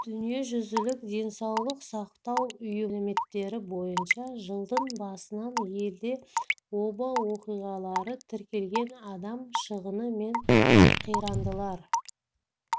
дүниежүзілік денсаулық сақтау ұйымының мәліметтері бойынша жылдың басынан елде оба оқиғалары тіркелген адам шығыны мен қирандылар